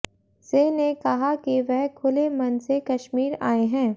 सिंह ने कहा कि वह खुले मन से कश्मीर आये हैं